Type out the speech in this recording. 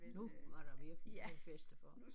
Nu var der virkelig noget at feste for